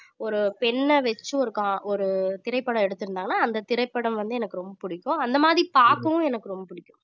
ஒரு பெண்ணை வச்சு ஒரு கா~ ஒரு திரைப்படம் எடுத்திருந்தாங்கன்னா அந்த திரைப்படம் வந்து எனக்கு ரொம்ப பிடிக்கும் அந்த மாதிரி பார்க்கவும் எனக்கு ரொம்ப பிடிக்கும் ம்